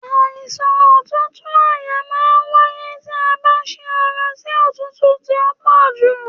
Àìsàn òtútù àyà ma n wáyé tí a bá sí ara sí òtútù tí ọ pọ jù